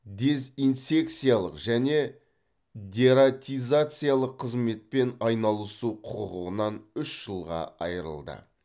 дезинсекциялық және дератизациялық қызметпен айналысу құқығынан үш жылға айырылды